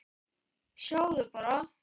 Sjáðu bara!